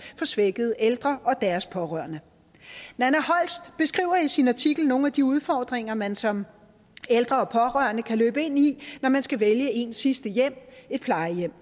for svækkede ældre og deres pårørende nanna holst beskriver i sin artikel nogle af de udfordringer man som ældre og pårørende kan løbe ind i når man skal vælge ens sidste hjem et plejehjem